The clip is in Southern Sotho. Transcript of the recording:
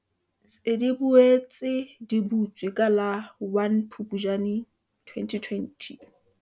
tsi di boetse di butswe ka la 1 Phuptjane 2020.